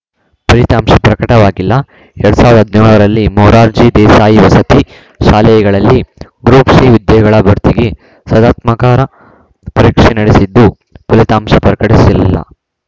ಫಲಿತಾಂಶ ಪ್ರಕಟವಾಗಿಲ್ಲ ಎರಡ್ ಸಾವಿರ್ದಾ ಹದ್ನ್ಯೋಳರಲ್ಲಿ ಮೊರಾರ್ಜಿ ದೇಸಾಯಿ ವಸತಿ ಶಾಲೆಗಳಲ್ಲಿ ಗ್ರೂಪ್‌ ಸಿ ಹುದ್ದೆಗಳ ಭರ್ತಿಗೆ ಸ್ಪಧಾತ್ಮಕಾರ ಪರೀಕ್ಷೆ ನಡೆಸಿದ್ದು ಫಲಿತಾಂಶ ಪ್ರಕಟಿಸಿಲ್ಲ